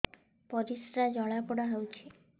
ପରିସ୍ରା ଜଳାପୋଡା ହଉଛି